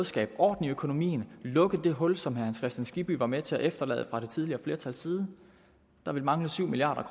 skabe orden i økonomien og lukke det hul som herre hans kristian skibby var med til at efterlade fra det tidligere flertals side der ville mangle syv milliard